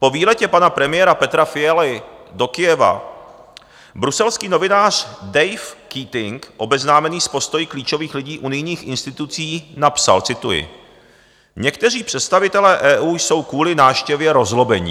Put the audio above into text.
Po výletě pana premiéra Petra Fialy do Kyjeva bruselský novinář Dave Keating, obeznámený s postoji klíčových lidí unijních institucí napsal, cituji: "Někteří představitelé EU jsou kvůli návštěvě rozzlobení.